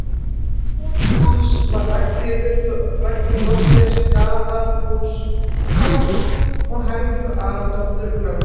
Kona hans var Ragnheiður, dóttir Staðarhóls-Páls og Helgu Aradóttur, lögmanns